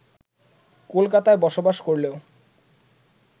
কলকাতায় বসবাস করলেও